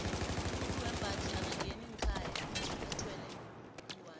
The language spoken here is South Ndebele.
umuntu wembaji akangeni ngekhaya athwele ingwani